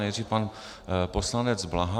Nejdřív pan poslanec Bláha.